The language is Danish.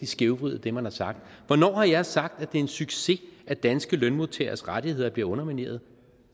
skævvride det man har sagt hvornår har jeg sagt at det er en succes at danske lønmodtageres rettigheder blive undermineret